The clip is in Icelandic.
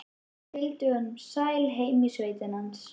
Fylgdi honum sæl heim í sveitina hans.